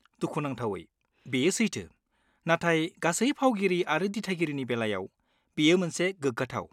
दुखुनांथावै, बेयो सैथो, नाथाय गासै फावगिरि आरो दिथागिरिनि बेलायाव, बेयो मोनसे गोग्गाथाव।